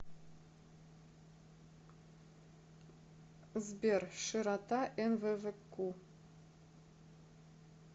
сбер широта нввку